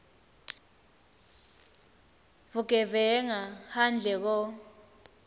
vugevenga handle ko